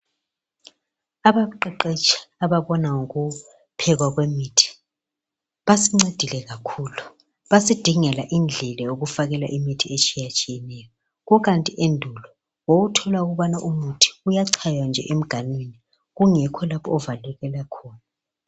Abaqeqetshi ababona ngokuphekwa kwemithi, basincedile kakhulu. Basidingela indlela yokufakela imithi etshiyatshiyeneyo, kukanti endulu wawuthola ukubani umuthi uyachaywa nje emganwini kungekho lapho ovalelwe khona.